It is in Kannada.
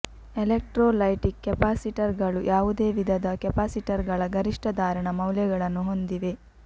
ಎಲೆಕ್ಟ್ರೋಲೈಟಿಕ್ ಕೆಪಾಸಿಟರ್ಗಳು ಯಾವುದೇ ವಿಧದ ಕೆಪಾಸಿಟರ್ಗಳ ಗರಿಷ್ಠ ಧಾರಣ ಮೌಲ್ಯಗಳನ್ನು ಹೊಂದಿವೆ